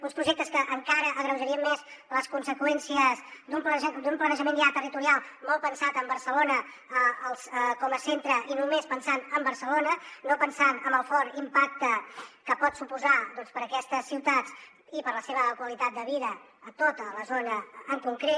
uns projectes que encara agreujarien més les conseqüències d’un planejament ja territorial molt pensat en barcelona com a centre i només pensant en barcelona no pensant en el fort impacte que pot suposar doncs per a aquestes ciutats i per a la seva qualitat de vida a tota la zona en concret